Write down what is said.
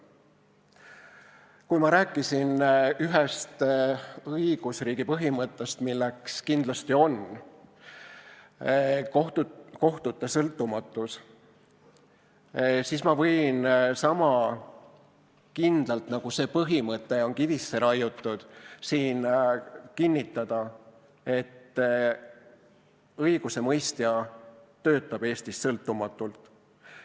Kui ma rääkisin ühest õigusriigi põhimõttest, milleks kindlasti on kohtute sõltumatus, siis ma võin sama kindlalt, nagu see põhimõte on kivisse raiutud, siin kinnitada, et õigusemõistja töötab Eestis sõltumatult.